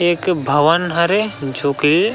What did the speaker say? एक भवन हरे जो कि--